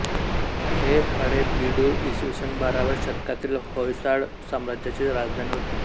हे हळेबीडु इ स बाराव्या शतकातील होयसाळ साम्राज्याची राजधानी होती